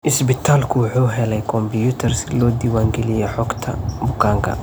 Isbitaalku waxa uu helay kombuyuutar si loo diiwaan geliyo xogta bukaanka.